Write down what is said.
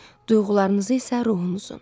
Duyğularınızı isə ruhunuzun.